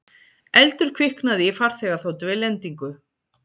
Eldur kviknaði í farþegaþotu við lendingu